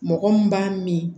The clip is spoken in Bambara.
Mɔgɔ mun b'a min